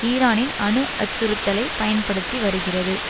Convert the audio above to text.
ஈரானின் அணு அச்சுறுத்தலை பயன்படுத்தி வருகிறது